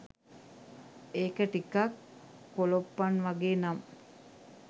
ඒක ටිකක් කොලොප්පන් වගේ නම්